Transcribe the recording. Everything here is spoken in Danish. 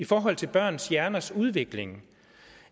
i forhold til børns hjerners udvikling